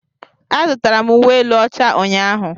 Azụtara m uwe elu ọcha ụnyaahụ.